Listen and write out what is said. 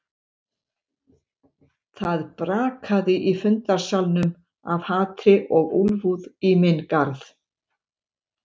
Það brakaði í fundarsalnum af hatri og úlfúð í minn garð.